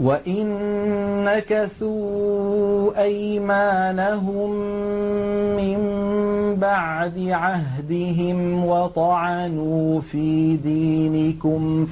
وَإِن نَّكَثُوا أَيْمَانَهُم مِّن بَعْدِ عَهْدِهِمْ وَطَعَنُوا فِي دِينِكُمْ